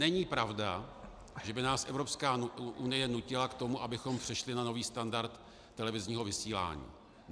Není pravda, že by nás Evropská unie nutila k tomu, abychom přešli na nový standard televizního vysílání.